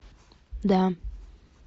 да